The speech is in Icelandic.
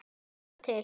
Fara til